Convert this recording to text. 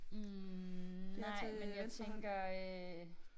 Hm nej men jeg tænker øh